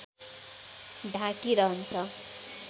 ढाकी रहन्छ